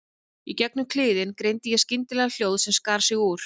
Í gegnum kliðinn greindi ég skyndilega hljóð sem skar sig úr.